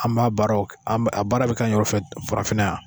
An b'a baara a baara bɛ kɛ an yɛɛw fɛ farafinna yan